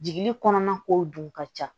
Jigi kɔnɔna kow dun ka ca